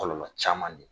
Kɔlɔlɔ caman ye